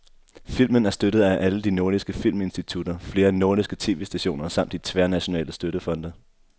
Filmen er støttet af alle de nordiske filminstitutter, flere nordiske tv-stationer samt de tværnationale støttefonde.